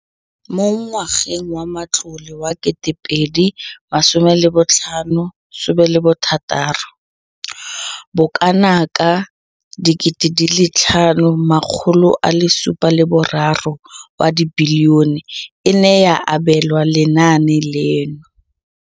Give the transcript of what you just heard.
Mo ngwageng wa matlole wa 2015,16, bokanaka R5 703 bilione e ne ya abelwa lenaane leno.